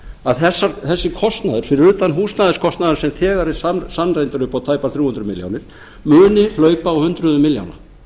að þessi kostnaður fyrir utan húsnæðiskostnaðinn sem þegar er sannreyndur upp á tæpar þrjú hundruð milljóna muni hlaupa á hundruðum milljóna